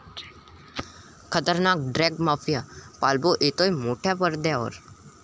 खतरनाक drugs mafia 'Pablo' येतोय मोठ्या पडद्यावर!